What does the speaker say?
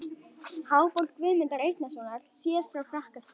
Háborg Guðmundar Einarssonar, séð frá Frakkastíg.